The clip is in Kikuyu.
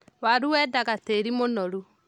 Waru wendaga tĩĩri mũnoru.